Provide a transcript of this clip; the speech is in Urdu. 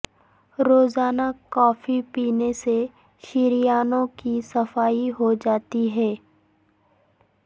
روزانہ کافی پینے سے شریانوں کی صفائی ہو جاتی ہے